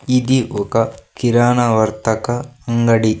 ఇది ఒక కిరాణా వర్తక అంగడి.